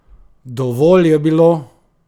Dovolj je bilo!